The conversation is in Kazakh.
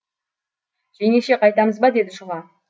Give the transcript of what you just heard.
жеңеше қайтамыз ба деді шұға